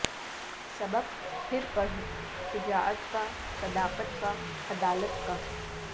سبق پھر پڑھ شجاعت کا صداقت کا عدالت کا